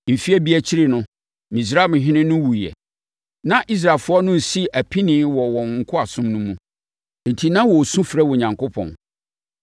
Mfeɛ bi akyiri no, Misraimhene no wuiɛ. Na Israelfoɔ no resi apinie wɔ wɔn nkoasom no mu. Enti na wɔresu frɛ Onyankopɔn.